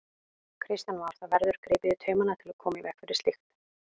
Kristján Már: Það verður gripið í taumana til að koma í veg fyrir slíkt?